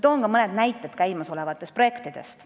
Toon ka mõned näited käimasolevatest projektidest.